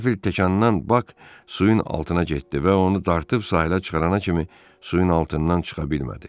Kəpildəkdən Bak suyun altına getdi və onu dartıb sahilə çıxarana kimi suyun altından çıxa bilmədi.